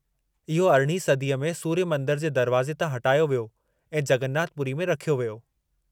इहो अरिढ़ीं सदीअ में सूर्य मंदर जे दरवाज़े तां हटायो वियो ऐं जगन्नाथ पूरी में रखियो वियो।